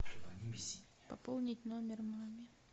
пополнить номер маме